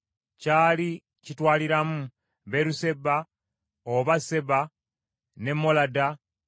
Kyali kitwaliramu Beeruseba, oba Seba, ne Molada,